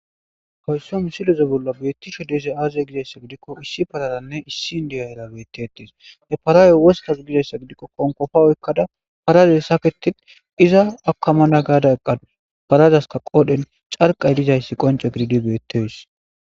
Haysa misile bolla bettizaysi azze gikko issi pararanne issi in'diyara bettetes he para wosiththa oyikkadde gikko iza akamana gadda ekkada parasika qodhdhen c'arikka gididdayisi qonc'e gididi bettes.